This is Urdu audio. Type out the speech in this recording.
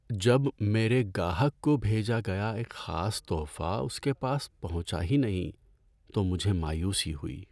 جب میرے گاہک کو بھیجا گیا ایک خاص تحفہ اس کے پاس پہنچا ہی نہیں تو مجھے مایوسی ہوئی۔